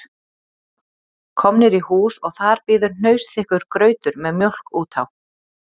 Komnir í hús og þar bíður hnausþykkur grautur með mjólk út á